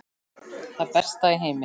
Það besta í heimi.